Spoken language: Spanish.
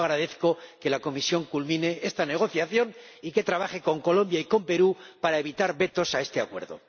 Yo agradezco que la Comisión culmine esta negociación y que trabaje con Colombia y con Perú para evitar vetos a este Acuerdo.